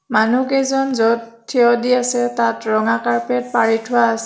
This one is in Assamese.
মানুহকেইজন য'ত থিয় দি আছে তাত ৰঙা কাৰ্পেট পাৰি থোৱা আছ--